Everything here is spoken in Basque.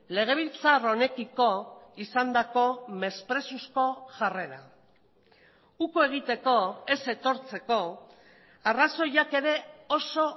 legebiltzar honekiko izandako mesprezuzko jarrera uko egiteko ez etortzeko arrazoiak ere oso